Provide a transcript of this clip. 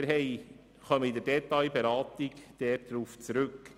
Wir kommen in der Detailberatung darauf zurück.